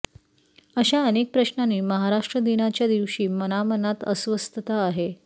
अशा अनेक प्रश्नांनी महाराष्ट्र दिनाच्यादिवशी मनामनात अस्वस्थता आहे